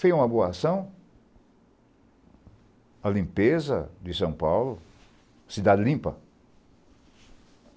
Fez uma boa ação, a limpeza de São Paulo, cidade limpa.